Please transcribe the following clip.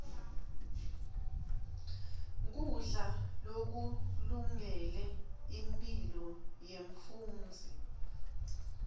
kudla lokulungele imphilo yemfundzi